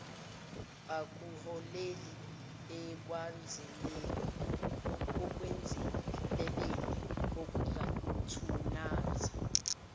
akuholeli ekwenzeleleni okungathunaza